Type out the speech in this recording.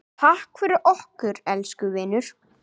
Takk fyrir okkur, elsku vinur.